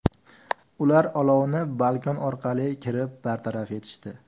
Ular olovni balkon orqali kirib bartaraf etishdi.